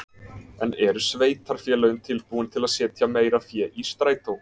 En eru sveitarfélögin tilbúin til að setja meira fé í strætó?